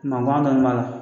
Mangan dɔɔni b'a la.